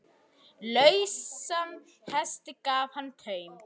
Lausan hesti gaf hann taum.